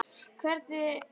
Hvernig leyst ykkur á það?